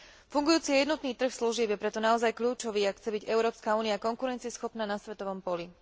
Fungujúci jednotný trh služieb je preto naozaj kľúčový, ak chce byť Európska únia konkurencieschopná na svetovom poli.